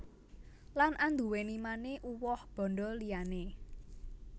Lan anduwèni mane uwoh bandha liyane